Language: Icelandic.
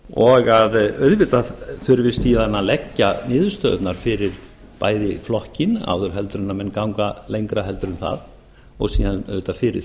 og að auðvitað þurfi síðan að leggja niðurstöðurnar fyrir bæði flokkinn áður en menn ganga lengra en það og síðan auðvitað fyrir